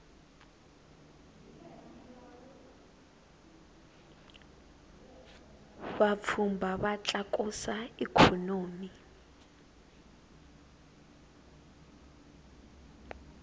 vapfhumba va tlakusa ikhonomi